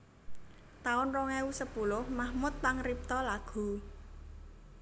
taun rong ewu sepuluh Mahmud pangripta lagu